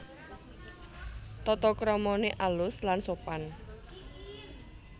Tatakramané alus lan sopan